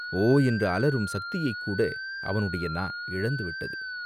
ஓ என்று அலறும் சக்தியைக் கூட அவனுடைய நா இழந்துவிட்டது.